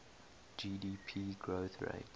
gdp growth rates